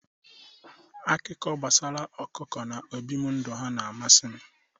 Akụkọ gbasara ọkụkọ na ọbibi ndụ ha na-amasị m.